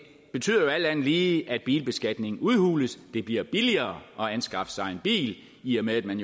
betyder alt andet lige at bilbeskatningen udhules det bliver billigere at anskaffe sig en bil i og med at man